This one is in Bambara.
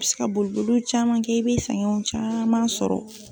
I bɛ se ka boliboliw caman kɛ i bɛ caman sɔrɔ.